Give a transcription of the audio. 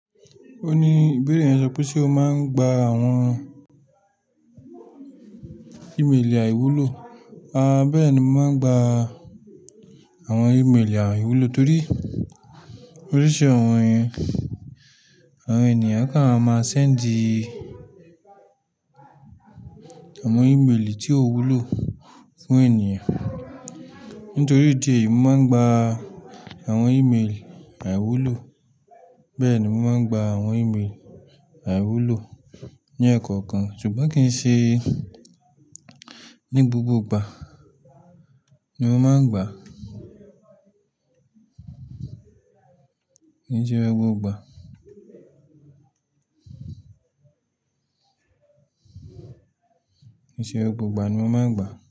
Ó ní, "Ibere yẹn sọ pé ṣe o máa ń gba àwọn ìmeelì àìwúlò?" A bẹ́ẹ̀ ni mo máa ń gba àwọn ìmeelì àìwúlò torí oríṣi àwọn ẹni, àwọn ènìyàn kan a máa sẹ́ǹdì àwọn ímeelì tí ó wúlò fún ènìyàn. Nítorí ìdí èyí, mo máa ń gba àwọn ímeèlì àìwúlò. Bẹ̀ni mo máa ń gba àwọn ímelì àìwúlò ní ẹ̀ẹ̀kọ̀kan ṣùgbọ́n kì í ṣe ní gbogbo ìgbà ni mo máa ń gba. Kì í ṣe gbogbo ìgbà. Kì í ṣe gbogbo ìgbà ni mo máa ń gba.